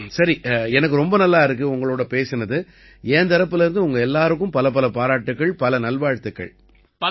சரி எனக்கு ரொம்ப நல்லா இருக்கு உங்களோட பேசினது என் தரப்பிலேர்ந்து உங்க எல்லாருக்கும் பலப்பல பாராட்டுக்கள் பல நல்வாழ்த்துக்கள்